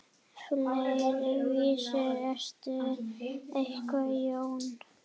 Fleiri vísur eru eftir Jón